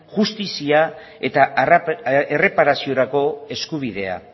justizia eta erreparaziorako eskubidea